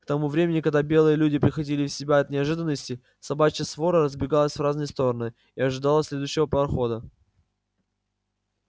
к тому времени когда белые люди приходили в себя от неожиданности собачья свора разбегалась в разные стороны и ожидала следующего парохода